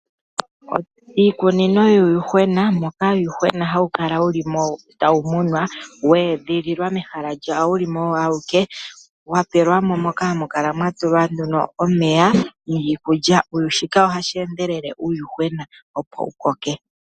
Iikunino yuuyuhwena moka uuyuhwena hawu kala wu li mo tawu munwa wa edhililwa mehala lyawo wuli mo owo awuke wa patelwa mo nduno hawu kala watulilwa mo omeya niikulya, shika ohashi endelelitha uuyuhwena opo wu koke.